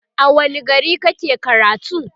a wani gari kake karatu?